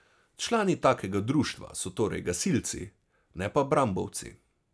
Člani takega društva so torej gasilci, ne pa brambovci.